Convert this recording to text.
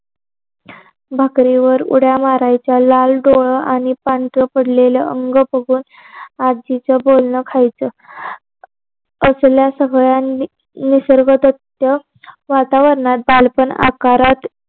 भाकरीवर उड्या मारायच्या लाल डोळ आणि पांढर पडलेलं अंग पुसून आजीचं बोलणं खायचं असलं सगळं निसर्ग रम्य वातावरणात बालपण आकारात